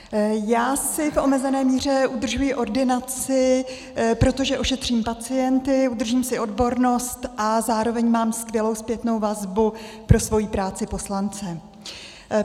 Já si v omezené míře udržuji ordinaci, protože ošetřím pacienty, udržím si odbornost a zároveň mám skvělou zpětnou vazbu pro svoji práci poslance.